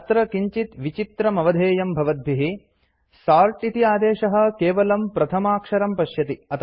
अत्र किञ्चित् विचित्रमवधेयं भवद्भिः सोर्ट् इति आदेशः केवलं प्रथमाक्षरं पश्यति